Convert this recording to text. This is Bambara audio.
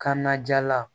Kanna ja la